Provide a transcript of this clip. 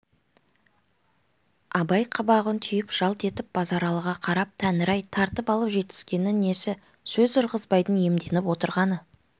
абай қабағын түйіп жалт етіп базаралыға қарап тәңір-ай тартып алып жетіскеннің несі сөз ырғызбайдың иемденіп отырғаны